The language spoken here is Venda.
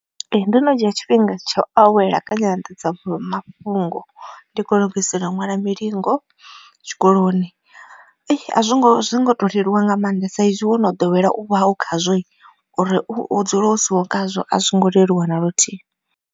Ee ndo no dzhia tshifhinga tsha u awela kha nyanḓadza mafhungo ndi kho u lugisela ṅwala mulingo tshikoloni. Azwo ngo zwi ngo to leluwa nga maanḓa saizwi wo no ḓowela u vha u khazwo uri u dzule u siho khazwo a zwo ngo leluwa na luthihi.